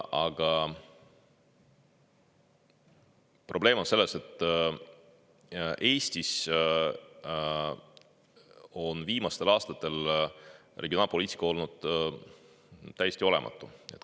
Aga probleem on selles, et Eestis on viimastel aastatel regionaalpoliitika olnud täiesti olematu.